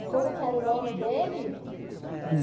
E como que era o nome dele?